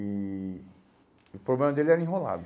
E o problema dele era enrolado.